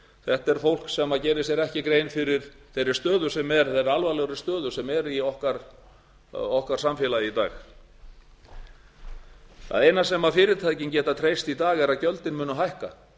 þetta er fólk sem gerir sér ekki grein fyrir þeirri stöðu sem er þeirri alvarlegu stöðu sem er í okkar samfélagi í dag það eina sem fyrirtækin geta treyst í dag er að gjöldin muni hækka